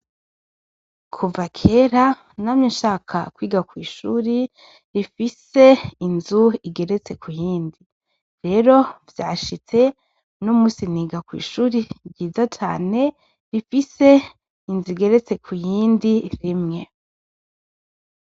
Kuva kera namye shaka kwiga kw’ishure rifise inzu igeretse kuyindi, rero vyashitse numunsi niga kw’ishure nziza cane rifise inzu igeretse kuyindi rimwe.